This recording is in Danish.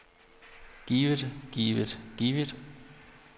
givet givet givet